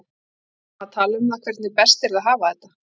Við vorum að tala um það hvernig best yrði að hafa þetta.